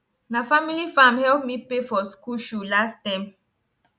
na family farm help me pay for school shoe last term